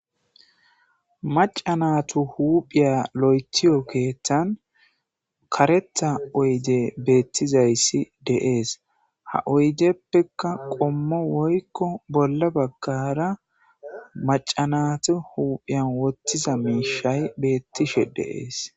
Macanatu huuphiya lo'etiyo keeththan kareta oyde beettizayssi de'ees ha oydeppeka qommo woykko bolla baggara macanatu huuphiyan wottiza miishay beettishe de'ees.